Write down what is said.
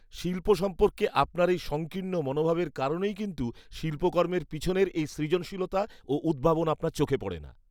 শিল্প সম্পর্কে আপনার এই সংকীর্ণ মনোভাবের কারণেই কিন্তু শিল্পকর্মের পিছনের এই সৃজনশীলতা ও উদ্ভাবন আপনার চোখে পড়ে না।